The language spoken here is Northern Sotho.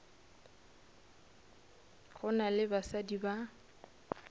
go na le basadi ba